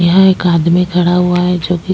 यहाँ एक आदमी खड़ा हुआ है जो कि --